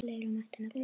Fleira mætti nefna.